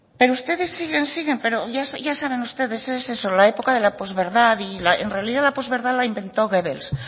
pero ustedes siguen siguen pero ya saben ustedes es eso la época de posverdad y en realidad la posverdad la inventó goebbels